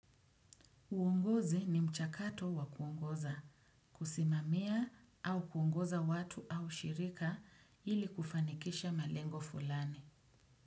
Uongozi ni mchakato wa kuongoza, kusimamia au kuongoza watu au shirika ili kufanikisha malengo fulani.